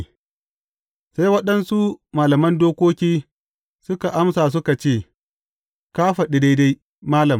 Sai waɗansu malaman dokoki suka amsa suka ce, Ka faɗi daidai, malam!